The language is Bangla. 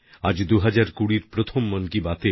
আজ 2020র প্রথম মন কি বাত